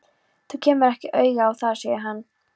Þú kemur ekki auga á það segir hann.